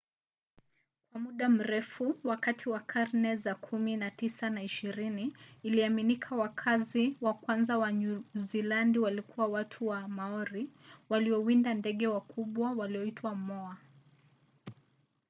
kwa muda mrefu wakati wa karne za kumi na tisa na ishirini iliaminika wakazi wa kwanza wa nyuzilandi walikuwa watu wa maori waliowinda ndege wakubwa walioitwa moa